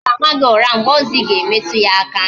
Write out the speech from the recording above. M ga-ama gị ụra mgbe ọzọ Ị ga-emetu ya aka